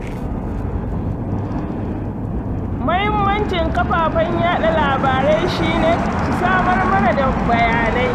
Muhimmancin kafafen yaɗa labarai shi ne, su samar mana da bayanai